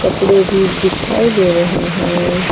भी दिखाई दे रहे है।